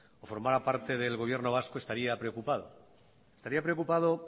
o formara parte del gobierno vasco estaría preocupado estaría preocupado